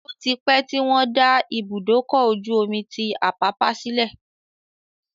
Ó ti pẹ́ tí wọ́n dá Ibùdókọ̀-ojú omi tí Àpápá sílẹ̀